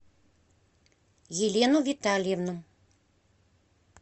елену витальевну